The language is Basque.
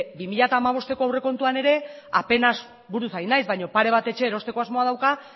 bi mila hamabosteko aurrekontuan ere apenas buruz ari naiz baino pare bat etxe erosteko asmoa dauka